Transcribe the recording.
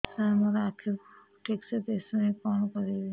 ସାର ମୋର ଆଖି କୁ ଠିକସେ ଦିଶୁନି କଣ କରିବି